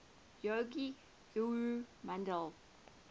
yogic guru nandhi